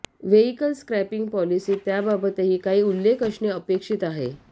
vehicle scrapping पॉलिसीत त्याबाबतही काही उल्लेख असणे अपेक्षित आहे